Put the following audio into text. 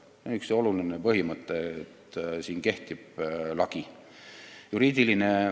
See on üks oluline põhimõte, et siin kehtib lagi.